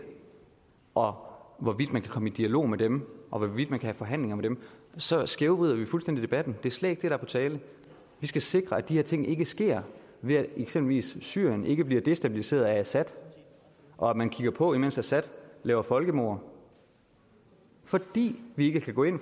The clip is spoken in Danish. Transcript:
og om hvorvidt man kan komme i dialog med dem og hvorvidt man kan have forhandlinger med dem så skævvrider vi fuldstændig debatten det er slet ikke det der er på tale vi skal sikre at de her ting ikke sker ved at eksempelvis syrien ikke bliver destabiliseret af assad og at man kigger på imens assad laver folkemord fordi vi ikke kan gå ind